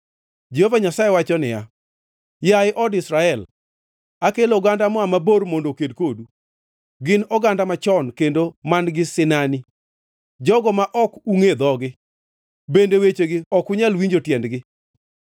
Jehova Nyasaye wacho niya, “Yaye od Israel, akelo oganda moa mabor mondo oked kodu, gin oganda machon kendo man-gi sinani, jogo ma ok ungʼe dhogi, bende wechegi ok unyal winjo tiendgi.